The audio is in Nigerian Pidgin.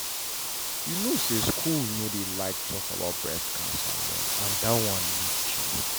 you know say schools no dey like talk about breast cancer well and that one need change.